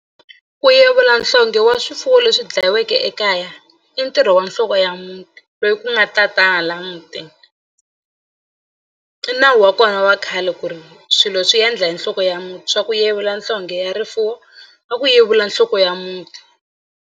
Ku yevula nhlonghe wa swifuwo leswi dlayiweke ekaya i ntirho wa nhloko ya muti loyi ku nga tatana laya mutini i nawu wa kona wa khale ku ri swilo swi endla hi nhloko ya muti swa ku yevula nhlonghe ya rifuwo a ku yevula nhloko ya muti.